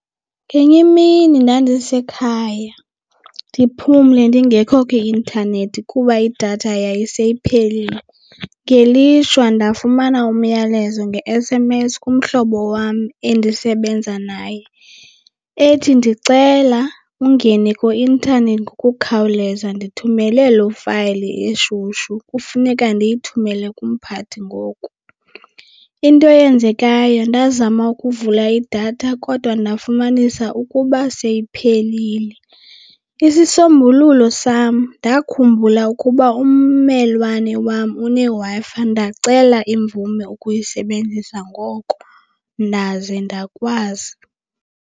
Ngenye imini ndandise khaya ndiphumle ndingekho kwi-intanethi kuba idatha yayiseyiphelile. Ngelishwa ndafumana umyalezo nge-S_M_S kumhlobo wam endisebenza naye ethi ndicela ungene kwi-intanethi ngokukhawuleza ndithumele loo fayile eshushu kufuneka ndiyithumele kumphathi ngoku. Into eyenzekayo ndazama ukuvula idatha kodwa ndafumanisa ukuba seyiphelile. Isisombululo sam ndakhumbula ukuba ummelwane wam uneWi-Fi ndacela imvume ukuyisebenzisa ngoko ndaze ndakwazi.